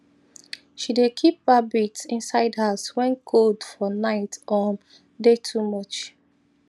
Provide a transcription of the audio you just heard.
she dey keep rabbits inside house when cold for night um dey too much